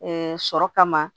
sɔrɔ kama